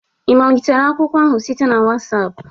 Ị bulitela akwụkwọ ahụ site na WhatsApp?